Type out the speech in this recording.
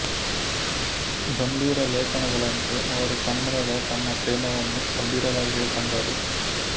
ಗಂಭೀರ ಲೇಖನಗಳಂತೆ ಅವರು ಕನ್ನಡದ ತಮ್ಮ ಪ್ರೇಮವನ್ನು ಗಂಭೀರವಾಗಿಯೇ ಕಂಡರು